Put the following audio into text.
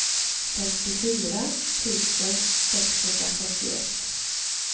femtiofyra tusen sexhundrafyrtioett